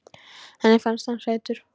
Henni fannst hann sætur.